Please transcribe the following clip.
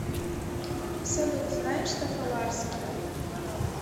салют знаешь тофаларский